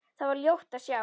Þar var ljótt að sjá.